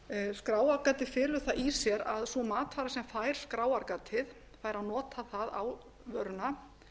skráargatið felur það í sér að sú matvara sem fær skráargatið fær að nota það á vöruna